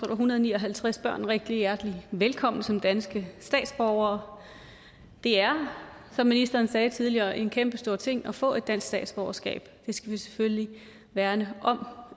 en hundrede og ni og halvtreds børn rigtig hjertelig velkommen som danske statsborgere det er som ministeren sagde tidligere en kæmpestor ting at få et dansk statsborgerskab det skal vi selvfølgelig værne om